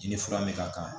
I ni fura me ka kan